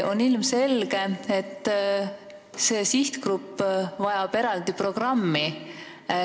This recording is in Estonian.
On ilmselge, et see sihtgrupp vajab eraldi programmi.